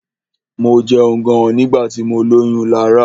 Mo jẹun gan nígbà tí mọ lóyún Lará.